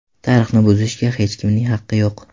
Tarixni buzishga hech kimning haqqi yo‘q.